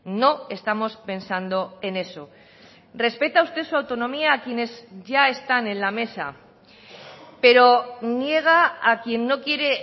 no estamos pensando en eso respeta usted su autonomía a quienes ya están en la mesa pero niega a quien no quiere